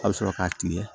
A bɛ sɔrɔ k'a kile